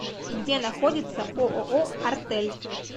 где находится ооо артель